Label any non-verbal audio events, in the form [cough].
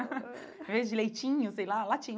[laughs] Ao invés de leitinho, sei lá, latim.